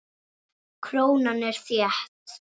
Krónan er þétt.